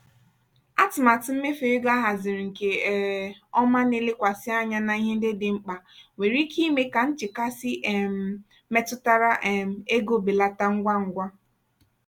atụmatụ mmefu ego ahaziri nke um ọma na-elekwasị anya na ihe ndị dị mkpa nwere ike ime ka nchekasị um metụtara um ego belata ngwa ngwa.